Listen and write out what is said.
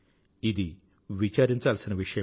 ఇది విచారించాల్సిన విషయమే